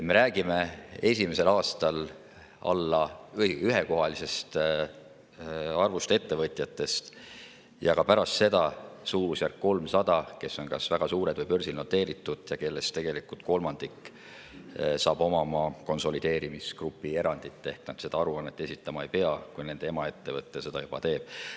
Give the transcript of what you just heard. Me räägime esimesel aastal ühekohalisest arvust ettevõtetest ja ka pärast seda suurusjärgus 300‑st, kes on kas väga suured või börsil noteeritud ja kellest tegelikult kolmandik hakkab omama konsolideerimisgrupi erandit ehk nad seda aruannet esitama ei pea, kui nende emaettevõte seda juba teeb.